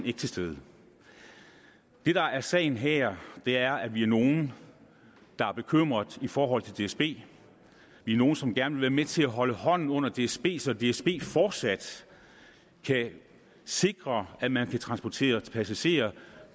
ikke til stede det der er sagen her er at vi er nogle der er bekymret i forhold til dsb vi er nogle som gerne vil være med til at holde hånden under dsb så dsb fortsat kan sikre at man kan transportere passagerer